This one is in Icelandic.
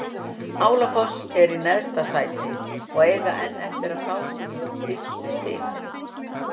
Álafoss er í neðsta sæti og eiga enn eftir að fá sín fyrstu stig.